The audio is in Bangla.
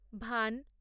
ভান